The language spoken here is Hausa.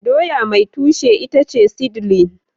doya mai tushe itace seedling